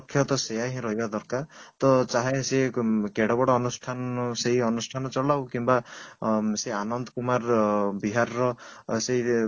ତ ସେଇୟା ହିଁ ରହିବା ଦରକାର ତ ଚାହେ ସେ କେଡେ ବଡ ଅନୁଷ୍ଠାନ ସେଇ ଅନୁଷ୍ଠାନ ଚଳାଉ କିମ୍ବା ସେଇ ଆନନ୍ତ କୁମାର ବିହାର ର ସେଇ